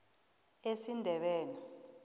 esindebele